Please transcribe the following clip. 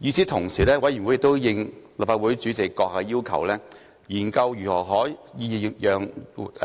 與此同時，委員會亦應立法會主席閣下的要求，研究如何可讓